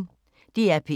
DR P1